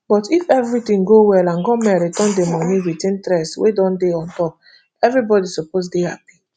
but if evritin go well and goment return di money wit interest wey don dey ontop evribody suppose to dey happy